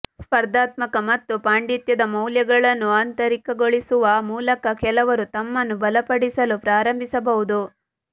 ಸ್ಪರ್ಧಾತ್ಮಕ ಮತ್ತು ಪಾಂಡಿತ್ಯದ ಮೌಲ್ಯಗಳನ್ನು ಆಂತರಿಕಗೊಳಿಸುವ ಮೂಲಕ ಕೆಲವರು ತಮ್ಮನ್ನು ಬಲಪಡಿಸಲು ಪ್ರಾರಂಭಿಸಬಹುದು